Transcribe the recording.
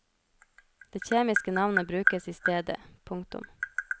Det kjemiske navnet brukes i stedet. punktum